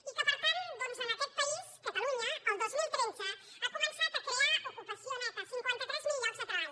i que per tant aquest país catalunya el dos mil tretze ha començat a crear ocupació neta cinquanta tres mil llocs de treball